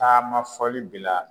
Taama fɔli bila